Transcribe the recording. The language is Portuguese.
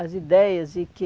As ideias e que...